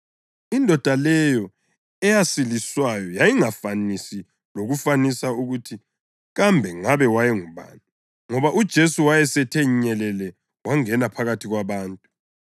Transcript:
Indoda leyo eyasiliswayo yayingafanisi lakufanisa ukuthi kambe ngabe wayengubani, ngoba uJesu wayesethe nyelele wangena phakathi kwabantu.